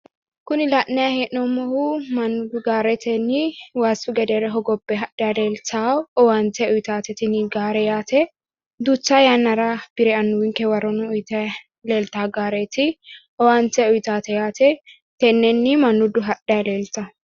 kuni la'nanni hee'noomohu mannu gaaretinni waasu gedeere hoogebe hadhanni leellitano owaante uyitate tini gaare yate duucha yanara bire anuwinke waro noo uyitanni leelita gaareti owaante uyita yate tenennii mannudu hadhanni leellita